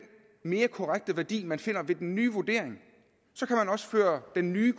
mere korrekte værdi man finder ved den nye vurdering så kan man også føre den nye